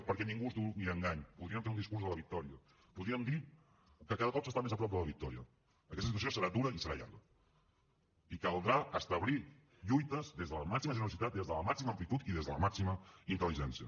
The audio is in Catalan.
perquè ningú es dugui a engany podríem fer un discurs de la victòria podríem dir que cada cop s’està més a prop de la victòria aquesta situació serà dura i serà llarga i caldrà establir lluites des de la màxima generositat des de la màxima amplitud i des de la màxima intel·ligència